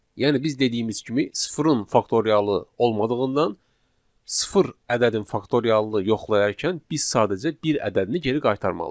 Yəni biz dediyimiz kimi sıfırın faktorialı olmadığından sıfır ədədin faktorialını yoxlayarkən biz sadəcə bir ədədini geri qaytarmalıyıq.